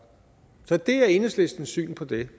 det er enhedslistens syn på det